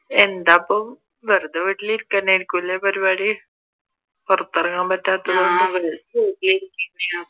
എന്താപ്പോ? വെറുതെ വീട്ടിൽ ഇരിക്കൽതന്നെയായിരിക്കും അല്ലെ പരിപാടി പുറത്തിറങ്ങാൻ പറ്റാത്തതുകൊണ്ട്